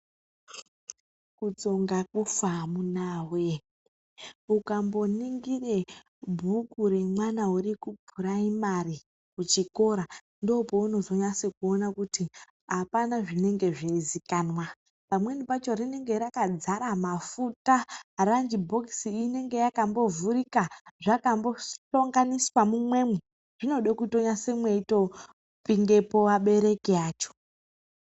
Kutsonga kufa amunawee, ukamboningire bhuku remwana urikupuraimari kuchikora, ndoopounozonyase kuona kuti hapana zvinenge zveizikanwa. Pamweni pacho rinenge rakadzara mafuta, ranjibhokisi inenge yakambovhurika zvakambosonganiswa mumwemo. Zvinode mweitonyasopindepo abereki acho.